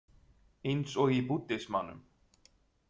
Eins og í búddismanum.